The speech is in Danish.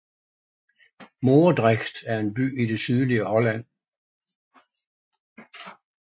Moordrecht er en by i det sydlige Holland